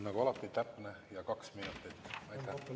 Nagu alati, täpne – kaks minutit.